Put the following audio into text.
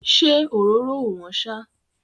Ṣé òróró ò wọ́n ṣá?